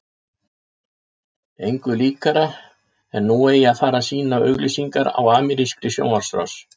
Engu líkara en nú eigi að fara að sýna auglýsingar á amerískri sjónvarpsrás.